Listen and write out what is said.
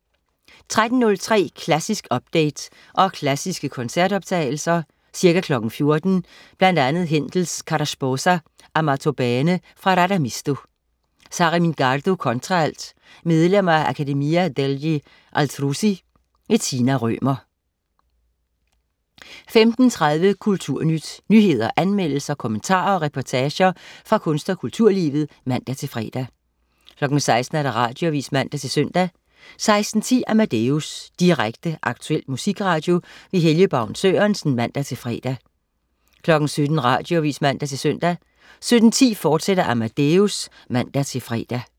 13.03 Klassisk update, og klassiske koncertoptagelser. Ca. 14:00 Bl.a. Händel: Cara sposa, amato bene, fra Radamisto. Sara Mingardo, kontraalt. Medlemmer af Accademia degli Astrusi. Tina Rømer 15.30 Kulturnyt. Nyheder, anmeldelser, kommentarer og reportager fra kunst- og kulturlivet (man-fre) 16.00 Radioavis (man-søn) 16.10 Amadeus. Direkte, aktuel musikradio. Helge Baun Sørensen (man-fre) 17.00 Radioavis (man-søn) 17.10 Amadeus, fortsat (man-fre)